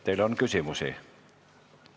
Teile on küsimusi.